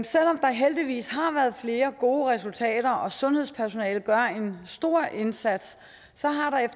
selv om der heldigvis har været flere gode resultater og sundhedspersonalet gør en stor indsats